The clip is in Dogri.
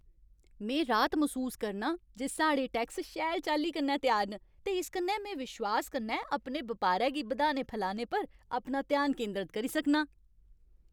में राहत मसूस करनां जे साढ़े टैक्स शैल चाल्ली कन्नै त्यार न, ते इस कन्नै में विश्वास कन्नै अपने बपारै गी बधाने फलाने पर अपना ध्यान केंदरत करी सकनां।